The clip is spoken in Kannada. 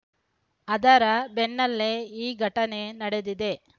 ಅದರ ಬೆನ್ನಲ್ಲೇ ಈ ಘಟನೆ ನಡೆದಿದೆ